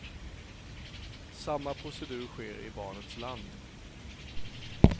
Samma procedur sker i barnets land.